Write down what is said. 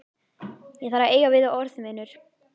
Ég þarf að eiga við þig orð, vinur.